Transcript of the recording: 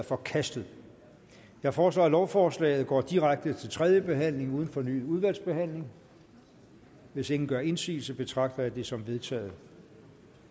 forkastet jeg foreslår at lovforslaget går direkte til tredje behandling uden fornyet udvalgsbehandling hvis ingen gør indsigelse betragter jeg det som vedtaget